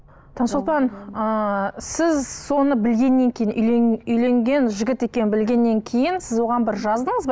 таңшолпан ыыы сіз соны білгеннен кейін үйленген жігіт екенін білгеннен кейін сіз оған бір жаздыңыз ба